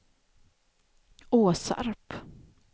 Åsarp